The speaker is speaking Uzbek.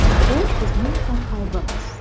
Bu bizning ham aybimiz.